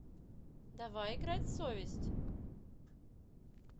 давай играть в совесть